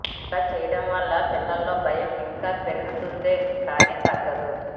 ఇలా చేయడంవలన పిల్లల్లో భయం ఇంకా పెరుగుతుందే కానీ తగ్గదు